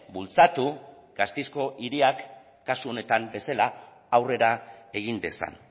bultzatu gasteizko hiriak kasu honetan bezala aurrera egin dezan